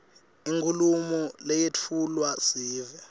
inkhulumo leyetfulelwa sive